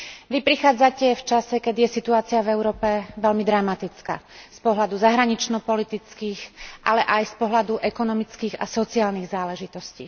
Vy prichádzate v čase, keď je situácia v Európe veľmi dramatická z pohľadu zahraničnopolitických, ale aj z pohľadu ekonomických a sociálnych záležitostí.